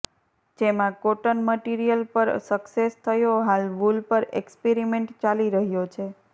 જેમાં cotton material પર success થયો હાલ વૂલ પર એક્સ્પેરિમેન્ટ ચાલી રહ્યો છે